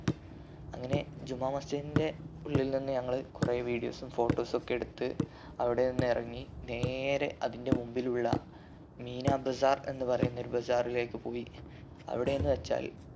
അങ്ങനെ ജുമാ മസ്ജിദ്ന്റെ ഉള്ളിൽ നിന്നും ഞങ്ങള് കൊറേ videos ഉം photos ഉം ഒക്കെ എടുത്ത് അവിടെ നിന്നും എറങ്ങി നേരെ അതിന്റെ മുമ്പിലുള്ള മീന bazaar എന്ന് പറയുന്ന ഒരു bazaar ലേക്ക് പോയി അവിടെ എന്ന് വെച്ചാൽ